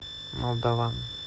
молдаван